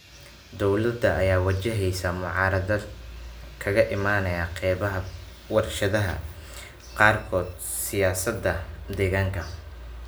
Dowlada ayaa wajaheysa mucaaradad kaga imaanaya qeybaha warshadaha qaarkood siyaasada deegaanka.